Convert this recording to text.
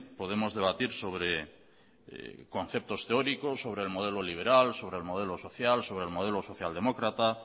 podemos debatir sobre conceptos teóricos sobre el modelo liberal sobre el modelo social sobre el modelo socialdemócrata